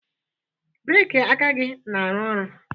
breeki aka gị na-arụ ọrụ